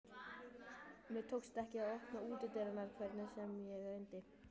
Mér tókst ekki að opna útidyrahurðina hvernig sem ég reyndi.